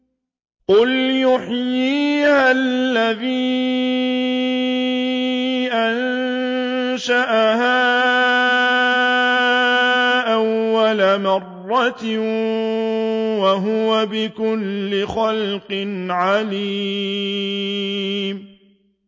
قُلْ يُحْيِيهَا الَّذِي أَنشَأَهَا أَوَّلَ مَرَّةٍ ۖ وَهُوَ بِكُلِّ خَلْقٍ عَلِيمٌ